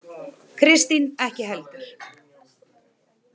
Kristín ekki heldur.